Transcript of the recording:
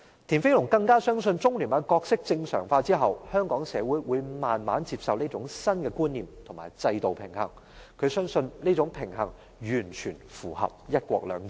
田飛龍更相信中聯辦的角色正常化後，香港社會會逐漸接受這種新觀念與制度平衡，他相信這種平衡完全符合"一國兩制"。